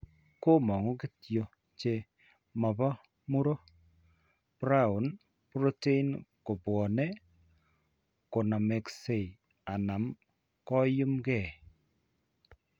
Komang'u kityo, che mopo muro prion protein kobwone konamakse, anan koyum ke.